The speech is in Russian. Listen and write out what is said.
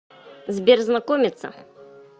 сбер знакомица